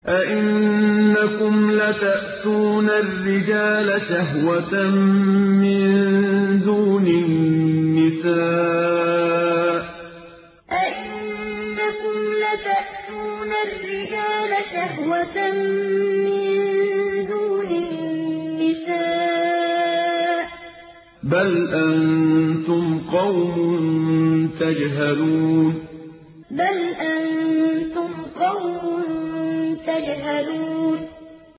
أَئِنَّكُمْ لَتَأْتُونَ الرِّجَالَ شَهْوَةً مِّن دُونِ النِّسَاءِ ۚ بَلْ أَنتُمْ قَوْمٌ تَجْهَلُونَ أَئِنَّكُمْ لَتَأْتُونَ الرِّجَالَ شَهْوَةً مِّن دُونِ النِّسَاءِ ۚ بَلْ أَنتُمْ قَوْمٌ تَجْهَلُونَ